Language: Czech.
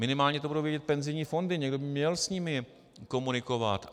Minimálně to budou vědět penzijní fondy, někdo by měl s nimi komunikovat.